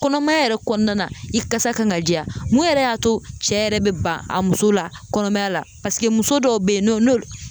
Kɔnɔmaya yɛrɛ kɔnɔna na, i kasa kan ka diya, mun yɛrɛ y'a to cɛ yɛrɛ bɛ ban a muso la kɔnɔmaya la, paseke muso dɔw bɛ yen n'o n'olu